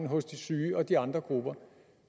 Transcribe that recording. hos de syge og de andre grupper